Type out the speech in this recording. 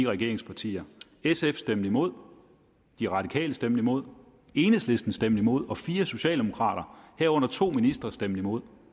regeringspartier sf stemte imod de radikale stemte imod enhedslisten stemte imod og fire socialdemokrater herunder to nuværende ministre stemte imod